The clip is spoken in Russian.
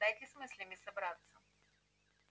дайте с мыслями собраться